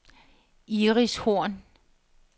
Iris Horn